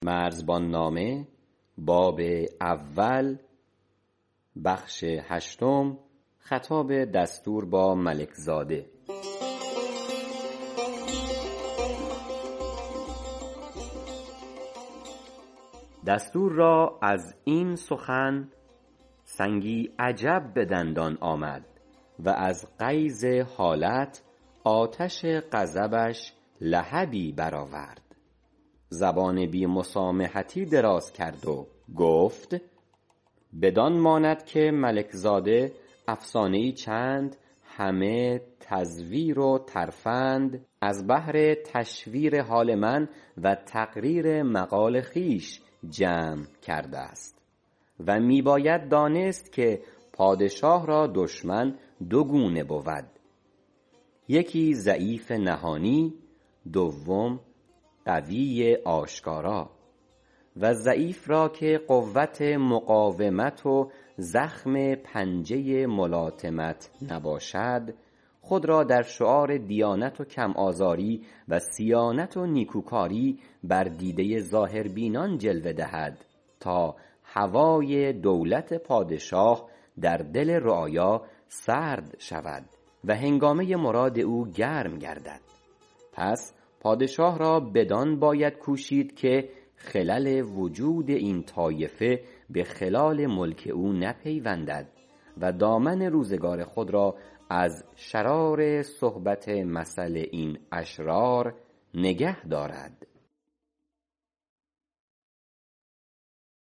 دستور را از این سخن سنگی عجب بدندان آمد و از غیظ حالت آتش غضبش لهبی برآورد زبان بی مسامحتی دراز کرد و گفت بدان ماند که ملک زاده افسانه چند همه تزویر و ترفند از بهر تشویر حال من و تقریر مقال خویش جمع کردست و می باید دانست که پادشاه را دشمن دو گونه بود یکی ضعیف نهانی دوم قوی آشکارا و ضعیف را که قوت مقاومت و زخم پنجه ملاطمت نباشد خود را در شعار دیانت و کم آزاری و صیانت و نیکوکاری بر دیده ظاهربینان جلوه دهد تا هوای دولت پادشاه در دل رعایا سرد شود و هنگامه مراد او گرم گردد پس پادشاه را بدان باید کوشید که خلل وجود این طایفه بخلال ملک او نپیوندد و دامن روزگار خود را از شرار صحبت مثل این اشرار نگه دارد